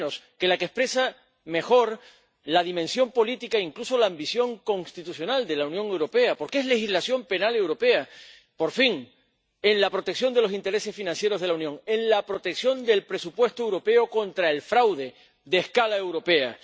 nada menos que la que expresa mejor la dimensión política, incluso la ambición constitucional de la Unión Europea, porque es legislación penal europea, por fin, en la protección de los intereses financieros de la Unión, en la protección del presupuesto europeo contra el fraude de escala europea.